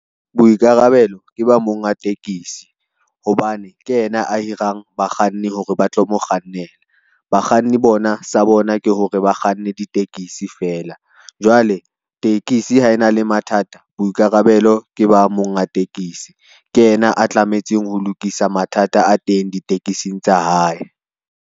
Boikarabelo, ke ba monga tekesi hobane ke yena a hirang bakganni hore ba tlo mo kgannela, bakganni bona sa bona ke hore bakganne ditekisi fela. Jwale tekesi ha e na le mathata boikarabelo ke ba monga tekesi, ke yena a tlametseng ho lokisa mathata a teng ditekesing tsa hae.